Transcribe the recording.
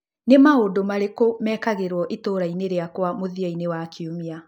Nĩ maũndũ marĩkũ mekagĩrwo itũũra-inĩ rĩakwa mũthia-inĩ wa kiumia